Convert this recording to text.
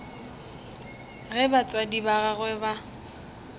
ge batswadi ba gagwe ba